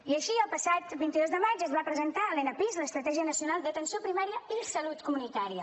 i així el passat vint dos de maig es va presentar l’enapisc l’estratègia nacional d’atenció primària i salut comunitària